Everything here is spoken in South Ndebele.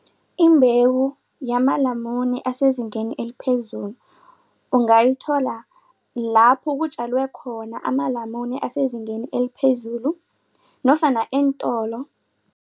Imbewu yamalamune asezingeni eliphezulu ungayithola lapho kutjalwe khona amalamune asezingeni eliphezulu nofana eentolo.